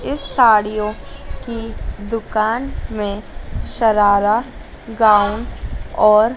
इस साड़ियों की दुकान में सरारा गाउन और--